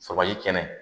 Sabali kɛnɛ